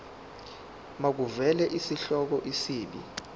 makuvele isihloko isib